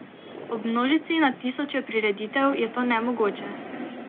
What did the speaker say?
Ob množici na tisoče prireditev je to nemogoče.